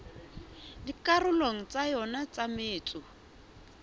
dikarolong tsa yona tsa metso